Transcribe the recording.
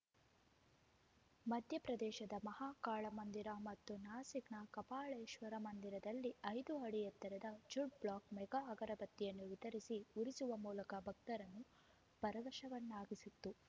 ಮಧ್ಯ ಪ್ರದೇಶದ ಮಹಾ ಕಾಳ ಮಂದಿರ ಮತ್ತು ನಾಸಿಕ್‌ನ ಕಪಾಳೇಶ್ವರ ಮಂದಿರದಲ್ಲಿ ಐದು ಅಡಿ ಎತ್ತರದ ಝಡ್ ಬ್ಲಾಕ್ ಮೆಗಾ ಅಗರಬತ್ತಿಯನ್ನು ವಿತರಿಸಿ ಉರಿಸುವ ಮೂಲಕ ಭಕ್ತರನ್ನು ಪರವಶರನ್ನಾಗಿಸಿತ್ತು